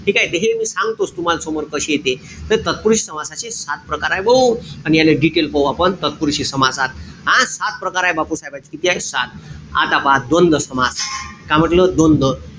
ठीकेय? त हे मी सांगतोच तुम्हाले समोर कशे ते. त तत्पुरुषी समासाचे सात प्रकारय भाऊ. अन याले detail पाहू आपण. तत्पुरुषी समासात. अन सात प्रकारे बापूसाहेबाचे. किती आहे? सात. आता पहा द्वंद्व समास. का म्हंटल? द्वंद्व.